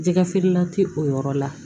Jɛgɛfeerela tɛ o yɔrɔ la